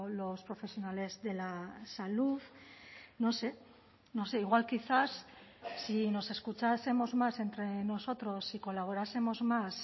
los profesionales de la salud no sé no sé igual quizás si nos escuchásemos más entre nosotros y colaborásemos más